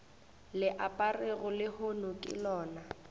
le aperego lehono ke lona